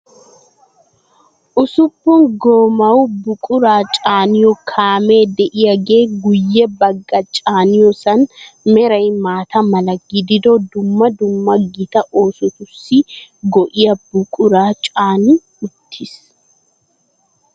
Usuppun goomaawa buquraa caaniyo kaamee de"iyaagee guyye bagga caaniyoosan meray maata mala gidido dumma dumma gita oosotussi go"iyaa buquraa caani uttis.